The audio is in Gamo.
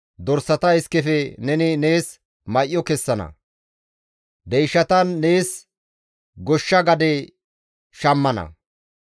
dorsata iskefe neni nees may7o kessana; deyshatan nees goshsha gade shammana.